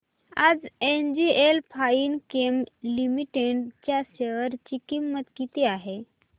आज NGL Finechem Limited च्या share ची किंमत किती आहे